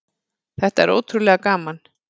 Þetta er ótrúlega gaman.